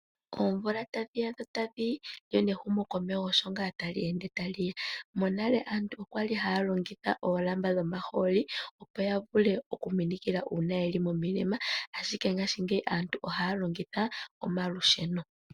Oomvula tadhi ya dho tadhi yi, lyo nehumokomeho osho nga tali ende tali ya. Monale aantu okwali haya longitha oolamba dhomahooli opo ya vule okuminikila uuna ye li momilema ashike ngaashingeyi aantu ohaya longitha omalusheno.